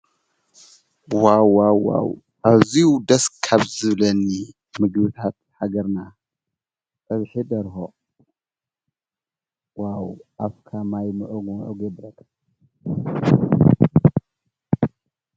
ዋ ዋዋው ኣብዙ ደስ ካብ ዝብለኒ ምግታት ሓገርና ኣብሒ ደርሆ ዋው ኣፍካ ማይ ምዕሙእ የብለካ።